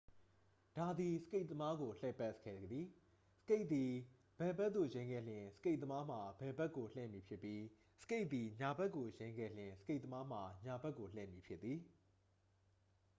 ဒါသည် စကိတ်သမားကို လှည့်စေခဲ့သည် စကိတ်သည် ဘယ်ဘက်ကို ယိမ်းခဲ့လျှင် စကိတ်သမားမှာ ဘယ်ဘက်ကို လှည့်မည်ဖြစ်ပြီး စကိတ်သည် ညာဘက်ကိုယိမ်းခဲ့လျှင် စကိတ်သမားမှာ ညာဘက်ကိုလည့်မည်ဖြစ်သည်